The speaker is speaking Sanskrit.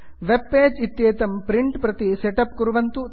वेब् पेज् इत्येतत् प्रिण्ट् प्रति सेट् अप् कुर्वन्तु